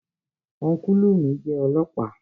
Ọ́nkùlù mi jẹ́ ọlọ́ọ̀pá